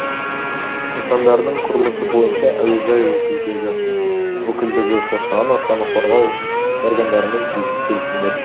нысандардың құрылысы бойынша әуежай өкілдегі қоршаған ортаны қорғау органдарымен тиісті келісімдер жасалды